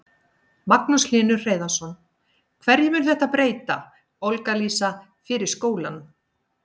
Magnús Hlynur Hreiðarsson: Hverju mun þetta breyta, Olga Lísa, fyrir skólann?